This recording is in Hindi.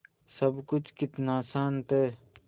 सब कुछ कितना शान्त है